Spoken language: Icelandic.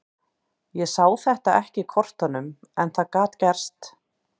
Ég sá þetta ekki í kortunum en það gat gerst.